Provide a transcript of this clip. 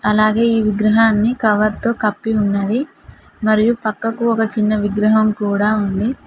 అలాగే ఈ విగ్రహాన్ని కవర్తో కప్పి ఉన్నది మరియు పక్కకు ఒక చిన్న విగ్రహం కూడా ఉంది.